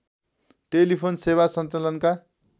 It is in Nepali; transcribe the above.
टेलिफोन सेवा सञ्चालनका